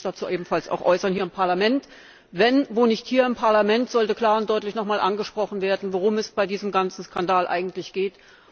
Und wir wollen uns dazu ebenfalls hier im Parlament äußern. Wo, wenn nicht hier im Parlament, sollte klar und deutlich nochmals angesprochen werden, worum es bei diesem ganzen Skandal eigentlich geht?